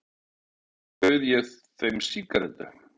Og svo bauð ég þeim sígarettu.